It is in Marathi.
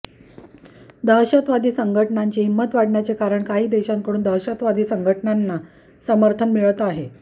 दहशतवादी संघटनांची हिंमत वाढण्याचे कारण काही देशांकडून दहशतवादी संघटनांना समर्थन मिळत आहे